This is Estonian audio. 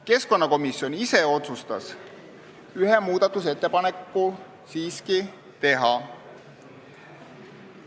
Keskkonnakomisjon ise otsustas ühe muudatusettepaneku siiski teha.